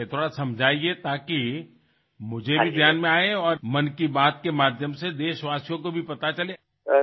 আপুনি প্ৰকৃততে কি কৰিছিল অলপ বুজাওক যাতে মইও বুজো আৰু মন কী বাতৰ জৰিয়তে দেশবাসীয়েও যাতে গম পাওক